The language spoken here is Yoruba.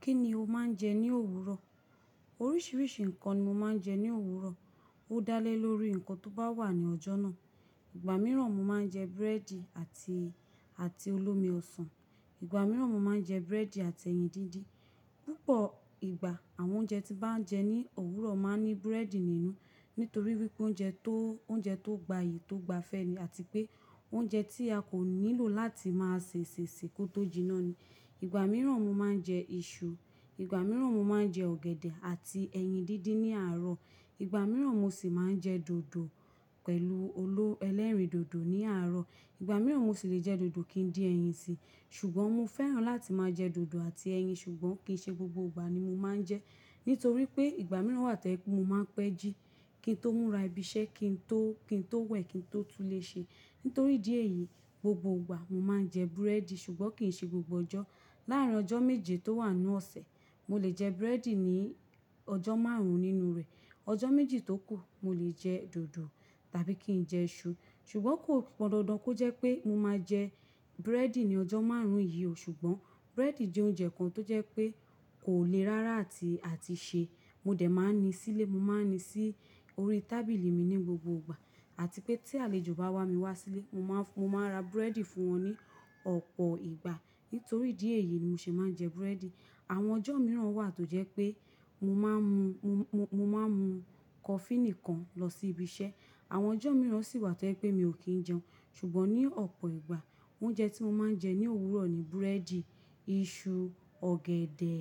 Kí ni o máa ń jẹ ní òwúrọ̀? Oríṣiríṣi nǹkan ni mo máa ń jẹ ní òwúrọ̀. Ó dá lé lórí nǹkan tó bá wà nu ọjọ́ náà. Ìgbà mìíràn mo máa ń jẹ búrẹ́dì àti, àti olómi ọsàn. Ìgbà mìíràn mo máa ń jẹ búrẹ́dì àti ẹyin díndín. Púpọ̀ ìgbà àwọn oúnjẹ tí mo bá ń jẹ ní òwúrọ̀ máa ń ní búrẹ́dì nínú. Nítorí wípé oúnjẹ tó, oúnjẹ tó gbayì, tó gba fẹ́ ni àti pé oúnjẹ tí a kò nílò láti máa ṣèṣè ṣe kó tó jiná ni. Ìgbà mìíràn mo máa ń jẹ iṣu. Ìgbà mìíràn mo máa ń jẹ ọ̀gẹ̀dẹ̀ àti ẹyin díndín ní àárọ̀. Ìgbà mìíràn mo sì máa ń jẹ dòdò pẹ̀lú oló elerin dòdò ní àárọ̀. Ìgbà mìíràn mo sì le jẹ dòdò kí n dín ẹyin sí. Ṣùgbọ́n mo fẹ́ràn láti máa jẹ dòdò àti ẹyin ṣùgbọ́n kì í ṣe gbogbo ìgbà ni mo máa ń jẹ Nítorí pé ìgbà mìíràn wà tí ẹ pé mo máa ń pẹ́ jí. Kí n tó múra ibi iṣẹ́, kí n tó, kí n tó wẹ̀, kí n tó túnléṣe. Nítorí ìdí èyí, gbogbo ìgbà mo máa ń jẹ búrẹ́dì ṣùgbọ́n kì í ṣe gbogbo ọjọ́. Láàrín ọjọ́ méje tó wà nínú ọ̀sẹ̀, mo lè jẹ búrẹ́dì ní ọjọ́ márùn ún nínú rẹ̀. Ọjọ́ méjì tó kù mo lè jẹ dòdò tàbí kí n jẹ iṣu. Ṣùgbọ́n kò pọn dandan kó jẹ́ pé mo máa jẹ búrẹ́dì ní ọjọ́ márùn-ún yìí o ṣùgbọ́n búrẹ́dì jẹ́ oúnjẹ kan tó jẹ́ pé kò le rárá àti, àti ṣe. Mo dẹ̀ máa ń ni sílé, mo máa ń ni sí orí tábìlì mi ní gbogbo ìgbà àti pé tí àlejò bá wá mi wá sílé mo máa, mo máa n ra búrẹ́dì fún wọn ní ọ̀pọ̀ ìgbà. Nítorí ìdí èyí ni mo ṣe máa ń jẹ búrẹ́dì. Àwọn ọjọ́ mìíràn wà tó jẹ́ pé mo máa ń mu, mo, mo, mo máa ń mu kọfí nìkan lọ sí ibi iṣẹ́. Àwọn ọjọ́ mìíràn sì wà tí ẹ pé mi ò kí ń jẹun. Ṣùgbọ́n ní ọ̀pọ̀ ìgbà oúnjẹ tí mo máa ń jẹ ní òwúrọ̀ ni búrẹ́dì, iṣu, ọ̀gẹ̀dẹ̀